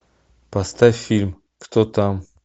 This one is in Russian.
поставь фильм кто там